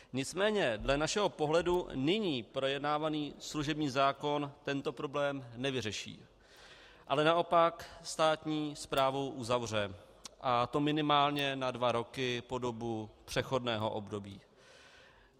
Nicméně dle našeho pohledu nyní projednávaný služební zákon tento problém nevyřeší, ale naopak státní správu uzavře, a to minimálně na dva roky po dobu přechodného období.